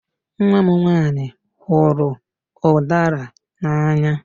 Nwa m nwanyị hụrụ udara n'anya.